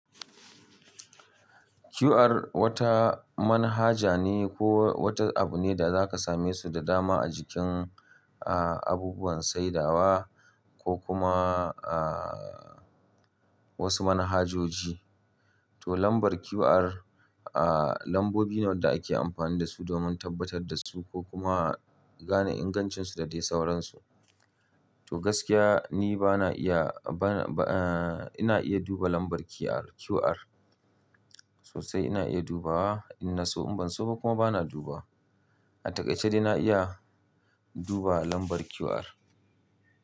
QR wata manhaja ne ko wata abu ne da zaka same su da dama a jikin, ah, abubuwan saidawa ko kuma, ah, wasu manhajoji. To lambar QR, ah, lambobi ne wanda ake amfani da su domin tabbatar da su ko kuma gane ingancinsu da dai sauransu. To gaskiya ni bana iya, bana, ah, ina iya duba lambar QR, QR. Sosai ina iya dubawa in na so in ban so ba kuma bana dubawa. A taƙaice dai na iya duba lambar QR.